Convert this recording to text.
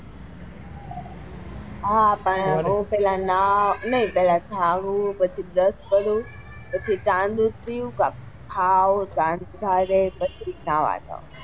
હા પણ હું પેલા જાગું પછી brush કરું પછી ચા ને દૂધ પીવું કૈક ખાઉં પછી જ નવા જાઉં,